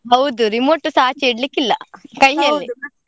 ಹೌದ್ remote ಸಾ ಆಚೆ ಇಡ್ಲಿಕ್ಕೆ ಇಲ್ಲಾ ಕೈಯಲ್ಲೇ.